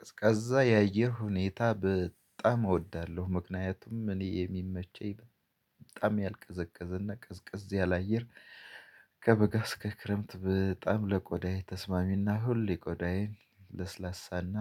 ቀዝቃዛ የአየር ሁኔታ በጣም እወዳለሁ ምክንያቱም እኔ የሚመቸኝ በጣም ያልቀዘቀዘና ቅዝቅዝ ያለ አየር። ከበጋ እስከ ክረምት በጣም ለቆዳየ ተስማሚና ሁሌ ቆዳዬን ለስላሳና